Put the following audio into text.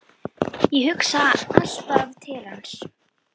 Ég hugsa alltaf til hans.